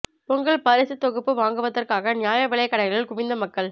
பொங்கல் பரிசுத் தொகுப்பு வாங்குவதற்காக நியாய விலைக் கடைகளில் குவிந்த மக்கள்